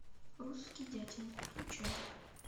русский дятел включай